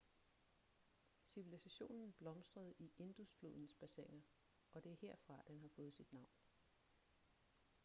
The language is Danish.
civilisationen blomstrede i indus-flodens bassiner og det er herfra den har fået sit navn